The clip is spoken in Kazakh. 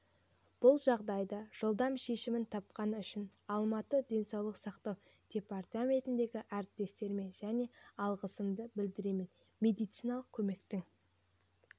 бұл жағдай жылдам шешімін тапқаны үшін алматы денсаулық сақтау департаментіндегі әріптестеріме және алғысымды білдіремін медициналық көмектің